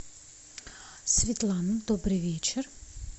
светлана добрый вечер